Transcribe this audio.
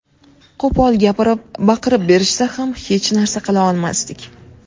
Qo‘pol gapirib, baqirib berishsa ham hech narsa qila olmasdik.